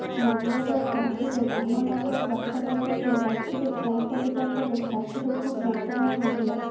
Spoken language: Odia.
ମଙ୍ଗଳବାର ରାତିରେ ରାମନଗର ବାସଭବନରେ ରାତିରେ ଖାଇବା ସାରିବା ପରେ ଛାତିରେ ଖୁବ ଯନ୍ତ୍ରଣା ହୋଇଥିଲା